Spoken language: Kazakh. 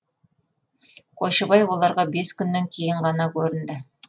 қойшыбай оларға бес күннен кейін ғана көрінді